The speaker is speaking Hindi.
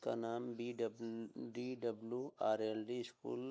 उनका नाम B W R L D school --